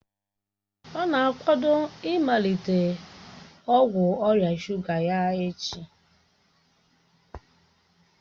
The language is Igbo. Ọ na-akwado ịmalite ọgwụ ọrịa shuga ya echi